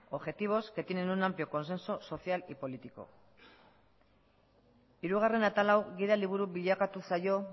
objetivos que tienen un amplio consenso social y político hirugarren atal hau gida liburu bilakatu zaio